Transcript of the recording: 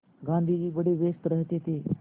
गाँधी जी बड़े व्यस्त रहते थे